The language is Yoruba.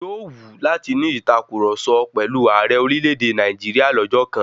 Yóò wú láti ní ìtàkurọ̀sọ pẹ̀lu Ààrẹ orílẹ̀-èdè Nàìjíríà lọ́jọ́ kan